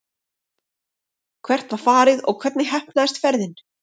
Hvert var farið og hvernig heppnaðist ferðin?